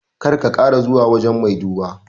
Kar ka kara zuwa wajan mai duba